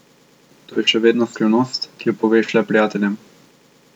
To je še vedno skrivnost, ki jo poveš le prijateljem.